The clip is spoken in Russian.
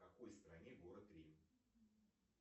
в какой стране город рим